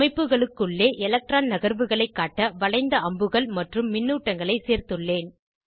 அமைப்புகளுக்குள்ளே electron நகர்வுகளை காட்ட வளைந்த அம்புகள் மற்றும் மின்னூட்டங்களை சேர்த்துள்ளேன்